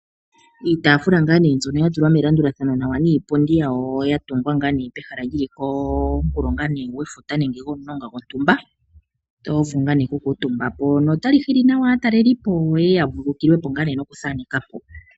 Iitaafula nga ne mbyono ya tulwa melandulathano nawa niipundi yawo ya tungwa ngaa nee pehala lyili komukulo nga ne gwefuta nenge gontumba. Oto vulu nga ne okukutumbapo, notayi hili aatalelipo yeye ya vululukilwepo nga ne nokuthanekapo.